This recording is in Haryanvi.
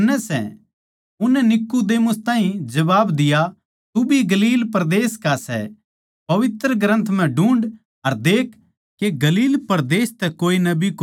उननै नीकुदेमुस ताहीं जबाब दिया तू भी गलील परदेस का सै पवित्र ग्रन्थ म्ह ढूँढ़ अर लखा के गलील परदेस तै कोए नबी कोनी आवै